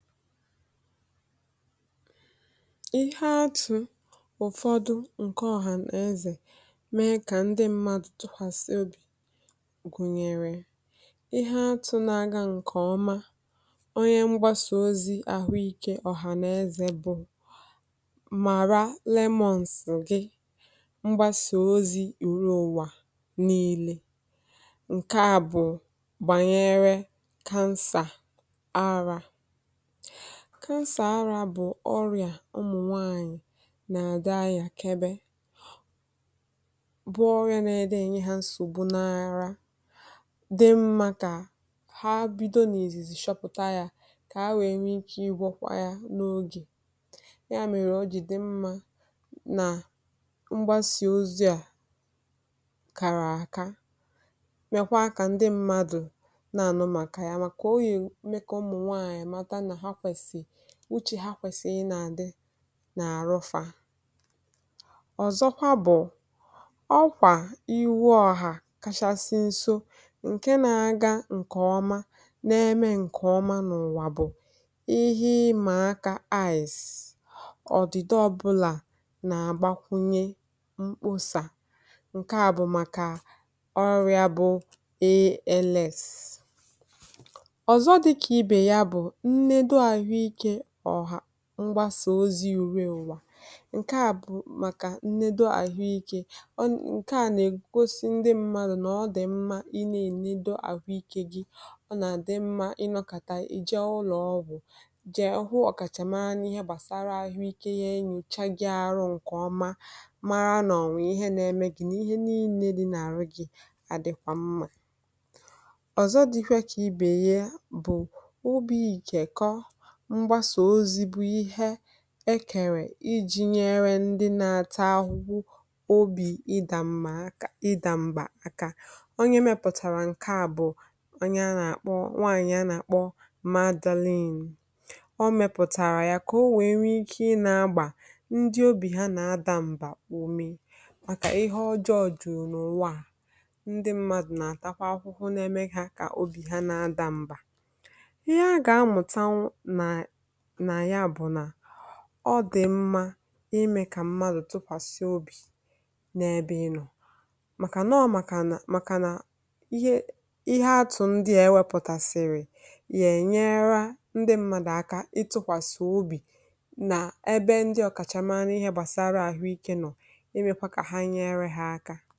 Ihe atụ̀ ụfọdụ nke ọhànàezè mee kà ndị mmadụ tụpàsị obì, gụnyere ihe atụ̀ na-aga nke ọma onye mgbasà ozi ahụikè ọ̀hànàezè, bụ Mara Lemons. Gị mgbasà ozi ùrụ ụ̀wa niile, nke a bụ̀ gbasara kansà ara cansor ara, bụ̀ ọrịa ụmụ̀nwaànyị̀ na-adị ahị̇. Àkèbè bụ́ ọrịa n’edị enyi ha, nsògbu n’ara dị mma, ka ha bido n’èzìzì chọpụ̀tà ya ka ha nwee ike igwọkwa ya n’oge ya. N’ihi ya, ọ̀ dị mma na mgbasà ozi a kàrà àka, mekwa kà ndị mmadụ nọ màkà ya, màkà oyi. Mekà ụmụ̀nwaànyị̀ ụchị ha, kwesị ịnà-adị n’àrụfa. Ọzọkwa, bụ̀ ọkwà iwu ọ̀hà kachasị nso nke na-aga nke ọma n’ime nke ọma n’ụ̀wa, bụ̀ ihe ịmà aka. Ice odide ọbụla na-agbakwunye mkpọsa, nke a bụ maka ọrịa bụ̀ ales ọrịa ọzọ dịka ibe ya. Bụ mgbasà ozi juuru ụwa, nke a bụ maka nledo ahụ ike. Ọ na-egosi ndị mmadụ na ọ dị mma ị na-ènedo ahụ ike gị. Ọ na-adị mma ịnọkata ije ụlọọ, bú jè hụ ọ̀kachàmana ihe gbasara ahụ ike gị. Enyochagị arụ nke ọma. Mara n’onwị̀ ihe na-eme gị, na ihe niile dị n’àrụ gị. Adịkwa mma. Ọzọ dịkwa ka ibe ya, bú ubi ike kọọrọ egerè iji nyere ndị na-ata ahụhụ obi ida mma aka, ida mba aka. Onye mepụtara nke a bụ̀ nwaànyị̀ a na-akpọ Madaline. Ọ mepụtara ya ka o nwee ike ị na-agba ndị obi ha na-adà mbà ume, maka ihe ọjọọ jùrù n’ụ̀wa. Ndị mmadụ na-atakwa akwụkwọ na-emegha ka obi ha na-adà mbà. N’ihi ya, ọ dị mma ime ka mmadụ tụkwasị obi n’ebe ị nọ maka nọọ, maka na, maka na ihe. Ihe atụ̀ ndị a ewepụtasịrị ga-enyere ndị mmadụ aka ịtụkwasị obi n’ebe ndị ọ̀kachàmana ihe gbasara ahụ ike nọ, imekwa ka ha nyere ha aka.